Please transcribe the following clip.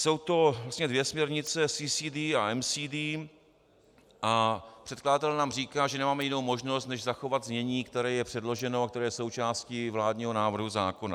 Jsou to vlastně dvě směrnice CCD a MCD a předkladatel nám říká, že nemáme jinou možnost než zachovat znění, které je předloženo a které je součástí vládního návrhu zákona.